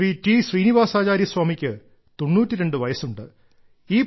Shri T Srinivasacharya സ്വാമിക്ക് 92 വയസ്സുണ്ട്